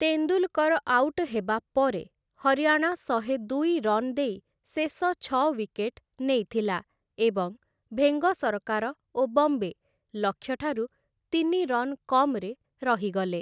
Tendulkar out ହେବା ପରେ, ହରିୟାଣା ଶହେଦୁଇ ରନ୍ ଦେଇ ଶେଷ ଛଅ ୱିକେଟ ନେଇଥିଲା ଏବଂ ଭେଙ୍ଗସରକାର ଓ ବମ୍ବେ ଲକ୍ଷ୍ୟ ଠାରୁ ତିନି ରନ୍ କମ୍‌ରେ ରହିଗଲେ ।